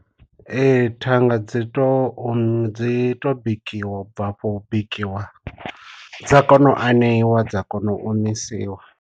Ee thanga dzi to dzi to bikiwa u bva afho u bikiwa dza kona u aneiwa dza kona u omisiwa.